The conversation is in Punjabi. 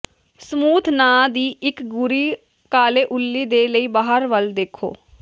ਸਮੂਥ ਨਾਂ ਦੀ ਇਕ ਗੂਰੀ ਕਾਲੇ ਉੱਲੀ ਦੇ ਲਈ ਬਾਹਰ ਵੱਲ ਦੇਖੋ